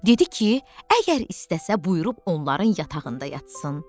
Dedi ki, əgər istəsə, buyurub onların yatağında yatsın.